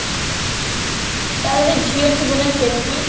ତାର ଗୋଟେ ଝିଅ ଥିବ ନା କେଟି?